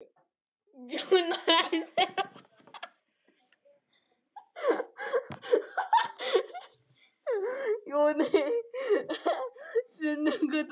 Ég legg aftur við hlustir, en hef af engu misst.